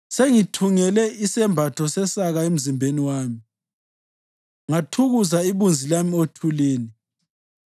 Sengithungele isembatho sesaka emzimbeni wami ngathukuza ibunzi lami othulini.